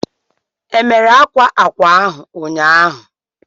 E mere akwa ákwà ahu ụnyaahụ?